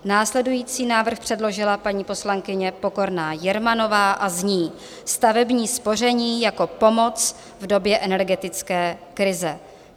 Následující návrh předložila paní poslankyně Pokorná Jermanová a zní Stavební spoření jako pomoc v době energetické krize.